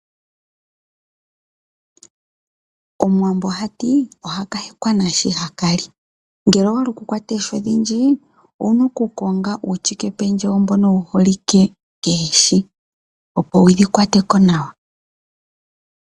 Omuwambo ohati ohaka hekwa nashi haka li, ngele owahala oku kwata oohi odhindji owuna oku konga uushike pendje mboka wuholike koohi opo wudhi kwateko nawa.